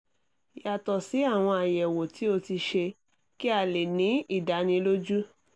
yàtọ̀ sí àwọn àyẹ̀wò tí o ti ṣe kí a lè ní ìdánilójú